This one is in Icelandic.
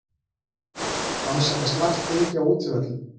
Rannsaka slakt gengi á útivöllum